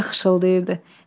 Meşə xışıltıyırdı.